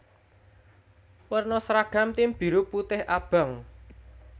Werna sragam tim biru putih abang